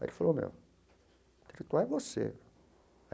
Aí ele falou, meu, intelectual é você.